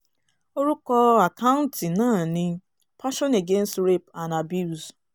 orúkọ àkáǹtì náà ni passion against rape and abuse